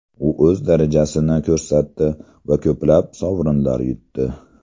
U o‘z darajasini ko‘rsatdi va ko‘plab sovrinlar yutdi.